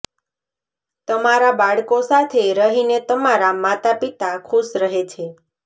તમારા બાળકો સાથે રહીને તમારા માતા પિતા ખુશ રહે છે